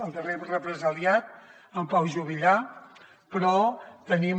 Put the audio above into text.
el darrer represaliat en pau juvillà però tenim